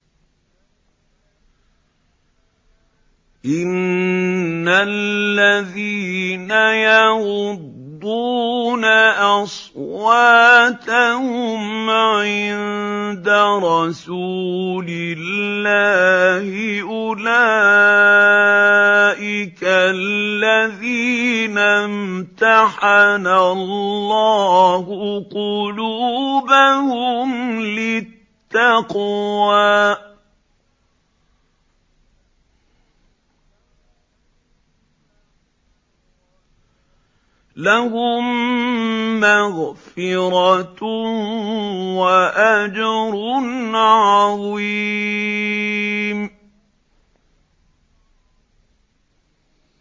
إِنَّ الَّذِينَ يَغُضُّونَ أَصْوَاتَهُمْ عِندَ رَسُولِ اللَّهِ أُولَٰئِكَ الَّذِينَ امْتَحَنَ اللَّهُ قُلُوبَهُمْ لِلتَّقْوَىٰ ۚ لَهُم مَّغْفِرَةٌ وَأَجْرٌ عَظِيمٌ